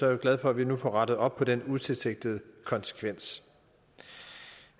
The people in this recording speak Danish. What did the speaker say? jeg glad for at vi nu får rettet op på den utilsigtede konsekvens